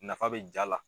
Nafa bɛ jaa la